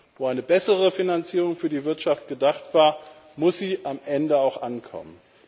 Wenn eine bessere Finanzierung für die Wirtschaft gedacht war, muss sie am Ende auch dort ankommen.